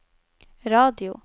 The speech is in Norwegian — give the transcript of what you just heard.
radio